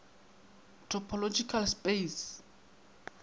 topological space